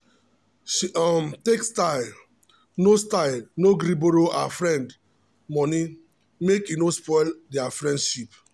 she um take style no style no gree borrow her friends moni make e no um spoil their friendship